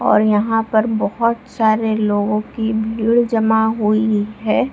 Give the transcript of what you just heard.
और यहाँ पर बहुत सारे लोगों की भीड़ जमा हुई है।